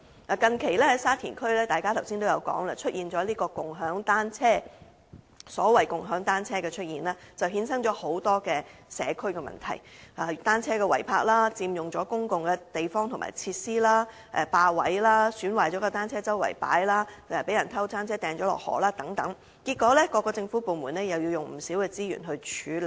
大家剛才說，沙田區近期出現了共享單車，所謂共享單車的出現衍生了很多社區問題，例如單車違泊、佔用公共地方和設施、霸佔位置、損壞了的單車四處擺放、單車被人偷走並扔進城門河等，結果各政府部門又要耗用不少資源處理。